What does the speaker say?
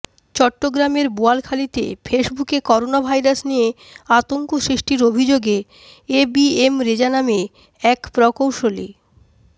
চট্টগ্রামের বোয়ালখালীতে ফেসবুকে করোনাভাইরাস নিয়ে আতঙ্ক সৃষ্টির অভিযোগে এ বি এম রেজা নামে এক প্রকৌ